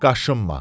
Qaşınma.